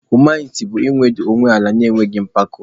Humiliti bụ iwetu onwe ala na-enweghị mpako.